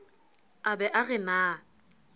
a be a re na